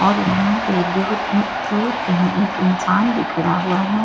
और यहां पे धूर नहीं दूर कहीं एक इंसान भी खड़ा हुआ है और ये--